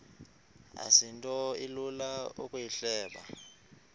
asinto ilula ukuyihleba